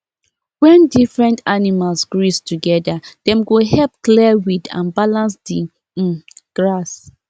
when different animals graze together dem go help clear weed and balance the um grass